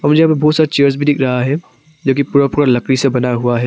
मुझे यहां पर बहुत सारा चेयर्स भी दिख रहा है जोकि पूरा पूरा लकड़ी से बना हुआ है।